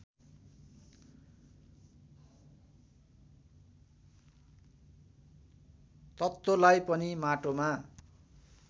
तत्त्वलाई पनि माटोमा